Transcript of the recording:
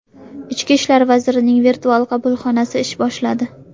Ichki ishlar vazirining virtual qabulxonasi ish boshladi.